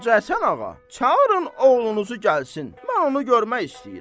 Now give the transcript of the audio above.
Hacı Həsən Ağa, çağırın oğlunuzu gəlsin, mən onu görmək istəyirəm.